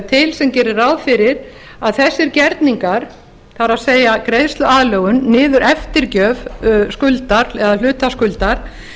til sem gerir ráð fyrir að þessir gerningar það er greiðsluaðlögun niður eftirgjöf skuldar eða hluta skuldar